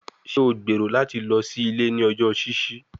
Ṣe o gbero lati lọ si ile ni ọjọ ṣiṣi?